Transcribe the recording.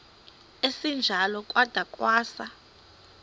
esinjalo kwada kwasa